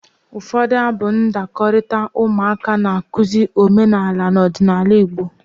Ụfọdụ abụ ndakọrita ụmụaka na-akụzi omenala na ọdịnaala Igbo.